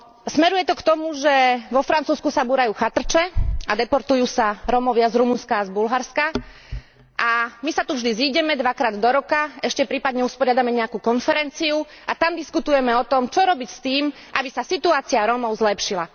Smeruje to k tomu, že vo Francúzsku sa búrajú chatrče a deportujú sa Rómovia z Rumunska a z Bulharska, a my sa tu vždy zídeme dvakrát do roka, ešte prípadne usporiadame nejakú konferenciu a tam diskutujeme o tom, čo robiť s tým, aby sa situácia Rómov zlepšila.